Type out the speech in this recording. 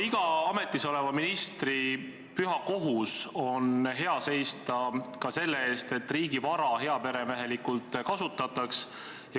Iga ametis oleva ministri püha kohus on seista hea ka selle eest, et riigi vara heaperemehelikult kasutataks.